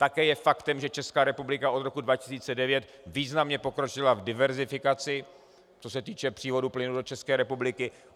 Také je faktem, že Česká republika od roku 2009 významně pokročila v diverzifikaci, co se týče přívodu plynu do České republiky.